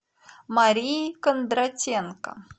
марии кондратенко